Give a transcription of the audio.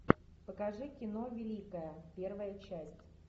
покажи кино великая первая часть